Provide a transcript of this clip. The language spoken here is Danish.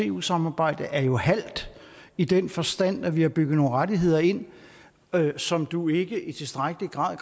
eu samarbejde er halvt i den forstand at vi har bygget nogle rettigheder ind som du ikke i tilstrækkelig grad